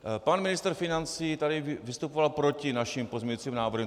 Pan ministr financí tady vystupoval proti našim pozměňovacím návrhům.